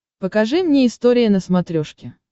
покажи мне история на смотрешке